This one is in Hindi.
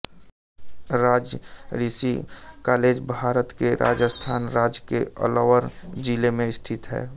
राज ऋषि कॉलेज भारत के राजस्थान राज्य के अलवर जिले में स्थित है